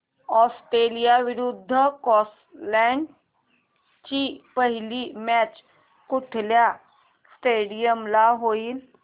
Australia विरुद्ध Scotland ची पहिली मॅच कुठल्या स्टेडीयम ला होईल